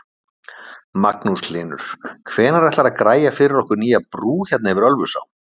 Magnús Hlynur: Hvenær ætlar þú að græja fyrir okkur nýja brú hérna yfir Ölfusá?